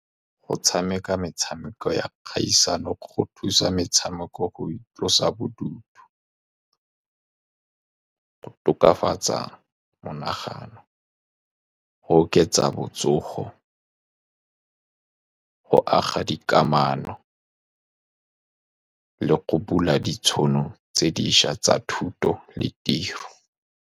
Go tshameka metshameko ya kgaisano go thusa, metshameko go itlosa bodutu, go tokafatsa monagano, go oketsa botsogo, go aga dikamano, le go bula ditšhono tse dišwa tsa thuto le tiro.